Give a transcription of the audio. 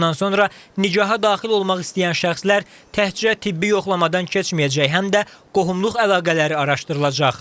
Bundan sonra nikaha daxil olmaq istəyən şəxslər təkcə tibbi yoxlamadan keçməyəcək, həm də qohumluq əlaqələri araşdırılacaq.